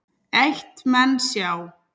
Eitt menn sjá